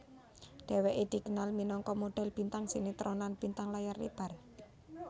Dheweké dikenal minangka modhel bintang sinetron lan bintang layar lebar